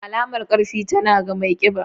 Alamar ƙarfi, tana ga mai ƙiba.